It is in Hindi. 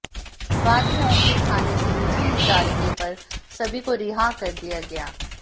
बाद में ओमती थाने से निजी मुचालके पर सभी को रिहा कर दिया गया